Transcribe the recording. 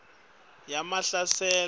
yamahlasela